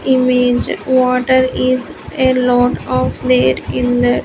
Image water is a lot of there in that --